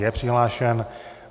Je přihlášen.